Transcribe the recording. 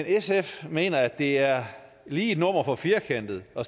sf mener at det er lige et nummer for firkantet at